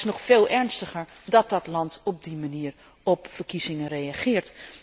Het is echter nog veel ernstiger dat het land op die manier op verkiezingen reageert.